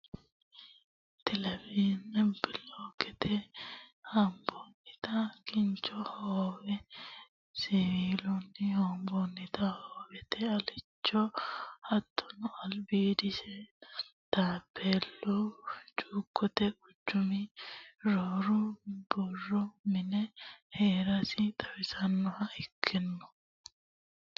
Taaohellanna bolokeetete hombonnitta kinchu hoowe, siwiiluni loonsonitta hoowete waalicho hattono alibidosi, taaphelu cuukote quchumi rosu borro mine heerasi xawisannoha ikkano